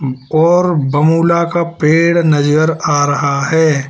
और बमुला का पेड़ नजर आ रहा है।